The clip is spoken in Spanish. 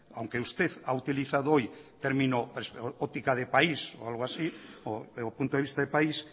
aunque usted ha utilizado hoy el término óptica de país o algo así o punto de vista de país